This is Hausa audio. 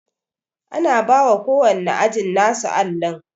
Ana bawa ko wanne ajin nasu allin